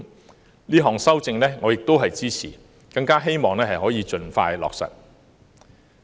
我亦支持這項修正案，希望可盡快落實。